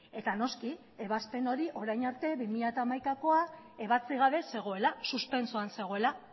eta noski ebazpen hori orain arte bi mila hamaikakoa ebatzi gabe zegoela suspentsoan zegoela